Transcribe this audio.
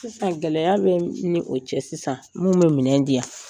Sisan, gɛlɛya bɛ ni o cɛ sisan , minnu bɛ minɛn di yan